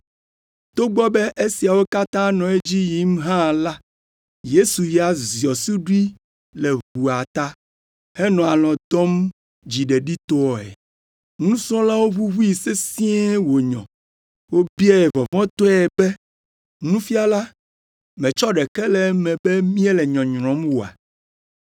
Togbɔ be esiawo katã nɔ edzi yim hã la, Yesu ya ziɔ suɖui le ʋua ta henɔ alɔ̃ dɔm dziɖeɖitɔe. Nusrɔ̃lawo ʋuʋui sesĩe wònyɔ. Wobiae vɔvɔ̃tɔe be, “Nufiala, mètsɔ ɖeke le eme be míele nyɔnyrɔm oa?”